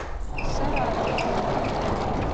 саратову